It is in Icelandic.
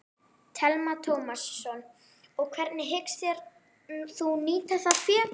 Telma Tómasson: Og hvernig hyggst þú nýta það fé?